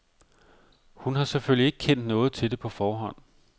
Hun har selvfølgelig ikke kendt noget til det på forhånd.